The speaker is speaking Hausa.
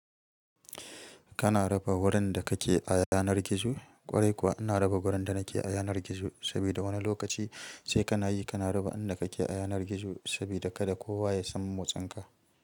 Kana raba wurin da kake a yanar gizo? Kwarai kuwa ina raba gurin da nake a yanar gizo, saboda wani lokaci sai kana yi kana raba inda kake a yanar gizo sabida kada kowa ya san motsinka.